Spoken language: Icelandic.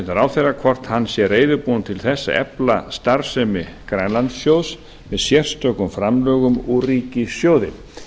ráðherra hvort hann sé reiðubúinn til þess að efla starfsemi grænlandssjóðs með sérstökum framlögum úr ríkissjóði